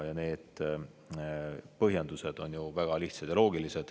Ja need põhjendused on ju väga lihtsad ja loogilised.